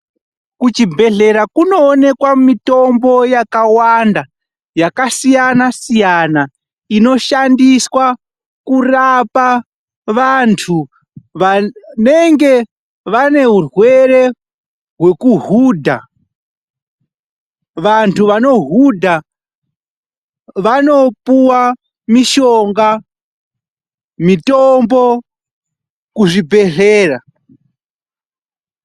Kuchibhedhlera kunoonekwa mitombo yakawanda, yakasiyana-siyana, inoshandiswa kurapa vantu vanenge vane urwere hwekuhudha. Vantu vanohudha, vanopuwa mishonga, mitombo kuzvibhedhlera.